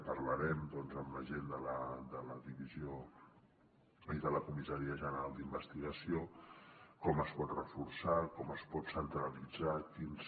parlarem amb la gent de la divisió i de la comissaria general d’investigació com es pot reforçar com es pot centralitzar quins